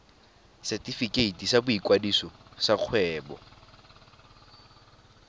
setefikeiti sa boikwadiso sa kgwebo